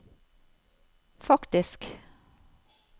faktisk